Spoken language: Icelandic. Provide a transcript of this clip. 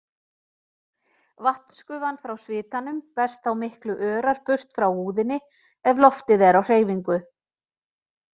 Vatnsgufan frá svitanum berst þá miklu örar burt frá húðinni ef loftið er á hreyfingu.